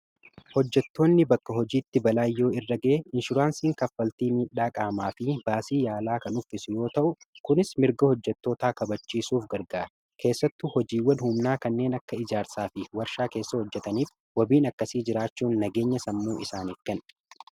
hojjettoonni bakka hojiitti balaa yoo irra ga'ee inshuraansiin kaffaltii miidhaa qaamaa fi baasii yaalaa kan uffisi yoo ta'u; kunis mirga hojjettootaa kabachiisuuf gargaara. keessattu hojiiwwan humnaa kanneen akka ijaarsaa fi warshaa keessa hojjetaniif wabiin akkasii jiraachuu nageenya sammuu isaaniif kenna.